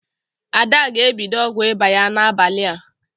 Ada ga-ebido ọgwụ ịba ya n'abalị a.